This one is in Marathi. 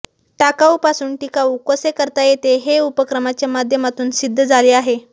टाकाऊपासून टिकाऊ कसे करता येते हे उपक्रमाच्या माध्यमातून सिद्ध झाले आहे